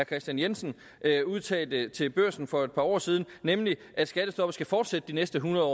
kristian jensen udtalte til børsen for et par år siden nemlig at skattestoppet skal fortsætte de næste hundrede